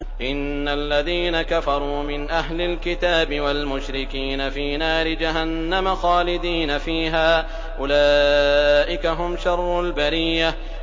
إِنَّ الَّذِينَ كَفَرُوا مِنْ أَهْلِ الْكِتَابِ وَالْمُشْرِكِينَ فِي نَارِ جَهَنَّمَ خَالِدِينَ فِيهَا ۚ أُولَٰئِكَ هُمْ شَرُّ الْبَرِيَّةِ